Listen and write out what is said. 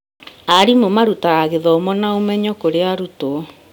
Arimũ marutaga gĩthomo na ũmenyo kũrĩ arutwo.